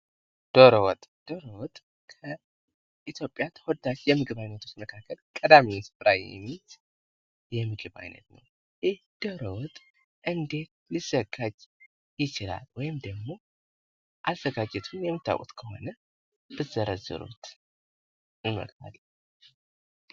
ዶሮ ወጥ ከኢትዮጵያ ተወዳጅ የምግብ ዓይነት ሲሆን ቀዳሚ ስፍራ የሚይዝ የምግብ ዓይነት ነው። ይህ ዶሮ ወጥ እንዴት ሊዘጋጅ ይችላል ወይም ደግሞ አዘጋጀቱን የምታውቁት ከሆነ ብትዘረዝሩት?